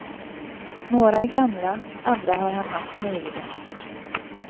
Några är gamla, andra har han haft nyligen.